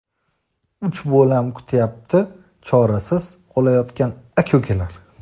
uch bolam kutyapti: chorasiz qolayotgan aka-ukalar.